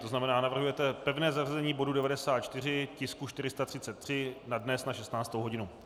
To znamená navrhujete pevné zařazení bodu 94, tisku 433 na dnes na 16. hodinu.